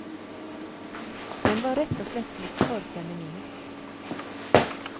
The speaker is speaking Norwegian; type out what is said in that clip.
Den var rett og slett blitt for feminin.